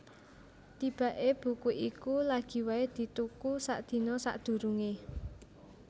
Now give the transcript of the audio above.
Tibaké buku iku lagi waé dituku sadina sadurungé